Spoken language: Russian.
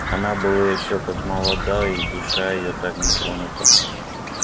она была ещё как молода и душа её так не тронута